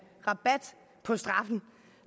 rabat på straffen